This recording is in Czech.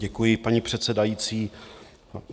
Děkuji, paní předsedající.